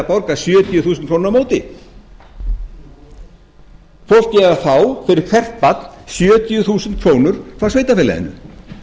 borgar sjötíu þúsund krónur á móti fólkið fær fyrir hvert barn sjötíu þúsund krónur frá sveitarfélaginu